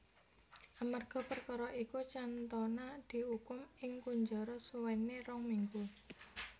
Amerga perkara iku Cantona diukum ing kunjara suwene rong minggu